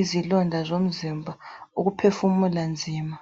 izilonda zomzimba, ukuphefumula nzima.